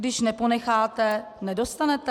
Když neponecháte, nedostanete?